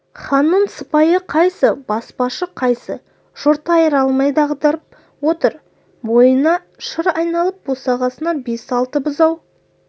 ханның сыпайы қайсы баспашы қайсы жұрт айыра алмай дағдарып отыр бойына шыр айналып босағасына бес-алты бұзау